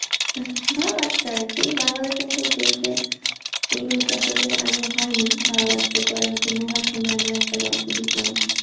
ভাল লাগসে আর কি বাংলাদেশর মতো দেশে এইগুলো তো আসলে আগে হয় নি ভাল লাগসে পরে হচ্ছে নুহাসুহানুর একটা গল্প দেখলাম,